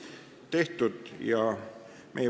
Tehtud!